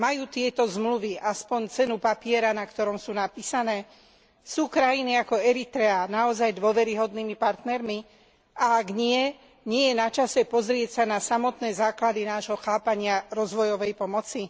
Majú tieto zmluvy aspoň cenu papiera, na ktorom sú napísané? Sú krajiny ako Eritrea naozaj dôveryhodnými partnermi? A ak nie, nie je na čase pozrieť sa na samotné základy nášho chápania rozvojovej pomoci?